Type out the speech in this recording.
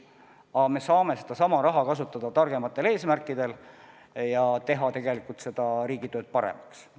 Ent me saame sedasama raha kasutada targematel eesmärkidel ja teha niimoodi tegelikult riigitööd paremaks.